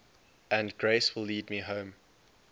and grace will lead me home